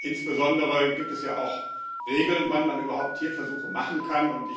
Insbesondere gibt es ja auch Regeln, wann man überhaupt Tierversuche machen kann.